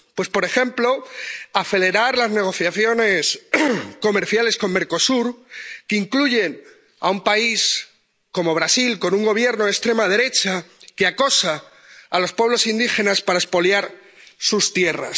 Pues, por ejemplo, acelerar las negociaciones comerciales con Mercosur, que incluyen a un país como Brasil, con un Gobierno de extrema derecha, que acosa a los pueblos indígenas para expoliar sus tierras.